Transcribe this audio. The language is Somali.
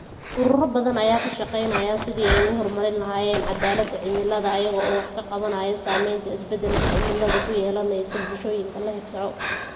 Ururo badan ayaa ka shaqaynaya sidii ay u horumarin lahaayeen cadaalada cimilada iyaga oo wax ka qabanaya saamaynta isbedalka cimiladu ku yeelanayso bulshooyinka la haybsooco.